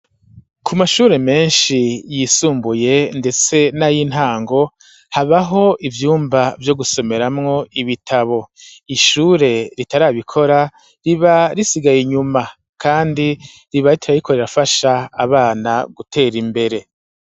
Ku mashure menshi yisumbuye, ndetse n'ay'intango habaho ivyumba vyo gusomeramwo ibitabo ishure ritarabikora riba risigaye inyuma, kandi riba ritararikorerafasha abana gutera imbere.